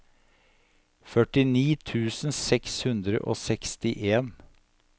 førtini tusen seks hundre og sekstien